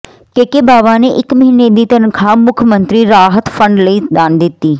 ਕੇ K Bawa ਨੇ ਇੱਕ ਮਹੀਨੇ ਦੀ ਤਨਖ਼ਾਹ ਮੁੱਖ ਮੰਤਰੀ ਰਾਹਤ ਫੰਡ ਲਈ ਦਾਨ ਦਿੱਤੀ